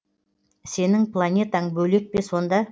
сенің планетаң бөлек пе сонда